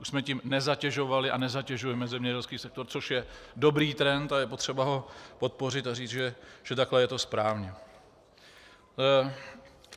Už jsme tím nezatěžovali a nezatěžujeme zemědělský sektor, což je dobrý trend a je potřeba ho podpořit a říct, že takhle je to správně